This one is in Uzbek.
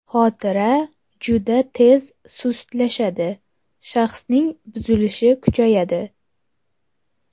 Xotira juda tez sustlashadi, shaxsning buzilishi kuchayadi.